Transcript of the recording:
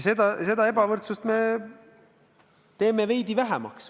Ja seda ebavõrdsust me teeme veidi vähemaks.